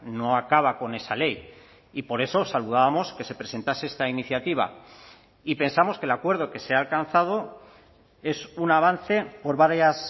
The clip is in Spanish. no acaba con esa ley y por eso saludábamos que se presentase esta iniciativa y pensamos que el acuerdo que se ha alcanzado es un avance por varias